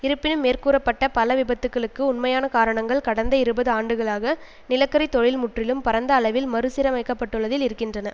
இருப்பினும் மேற்கூறப்பட்ட பல விபத்துகளுக்கு உண்மையான காரணங்கள் கடந்த இருபது ஆண்டுகளாக நிலக்கரி தொழில் முற்றிலும் பரந்த அளவில் மறு சீரமைக்கப்பட்டுள்ளதில் இருக்கின்றன